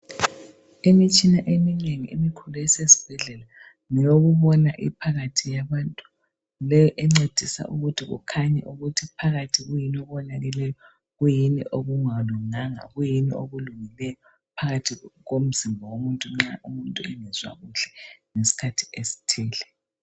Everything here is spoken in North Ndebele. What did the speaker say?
Imitshina eminengi emikhulu esesibhedlela ngeyokubona iphakathi yabantu, leyi encedisa ukuthi kukhanye ukuthi phakathi kuyini okonakeleyo, kuyini okungalunganga, kuyini okulungileyo phakathi komzimba womuntu nxa umuntu ngezwa kuhle ngesikhathi esithile.